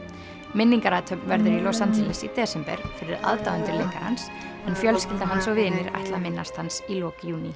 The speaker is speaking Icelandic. minningarathöfn verður í Los Angeles í desember fyrir aðdáendur leikarans en fjölskylda hans og vinir ætla að minnast hans í lok júní